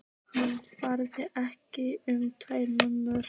Hann bað ekki um tvær mömmur.